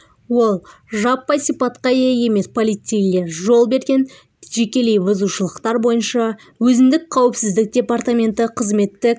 ол жаппай сипатқа ие емес полицейлер жол берген жекелей бұзушылықтар бойынша өзіндік қауіпсіздік департаменті қызметтік